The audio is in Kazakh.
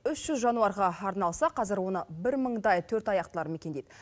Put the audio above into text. үш жүз жануарға арналса қазір оны бір мыңдай төртаяқтылар мекендейді